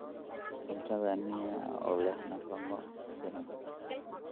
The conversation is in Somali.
Cuntada ni�a oo leh nafaqo ku filan.